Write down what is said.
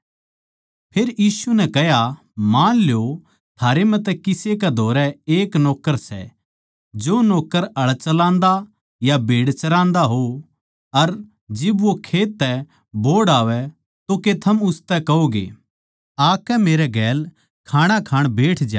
फेर यीशु नै कह्या मान ल्यो थारै म्ह तै किसे कै धोरै एक नौक्कर सै जो नौक्कर हळ चलान्दा या भेड़ चरान्दा हो अर जिब वो खेत तै बोहड़ आवै तो के थम उसतै कहोंगे आकै मेरे गेल खाणा खाण बैठ ज्या